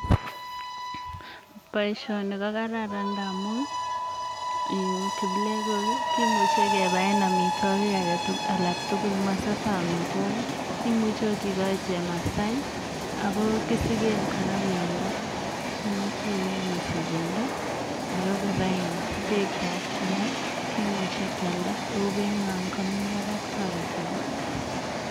Boishoni ko kararan ngamun kiplekook kimuche kebaen amitwogiik alaktugul, mosose amitwogiik. Imuche ot, ikochi chemasai ako kisigen kora bendoo, imuche ieny isich bendoo. kora kimuche kealda oko beinywan komii barak, toretii biik